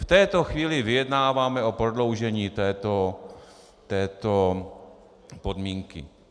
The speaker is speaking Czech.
V této chvíli vyjednáváme o prodloužení této podmínky.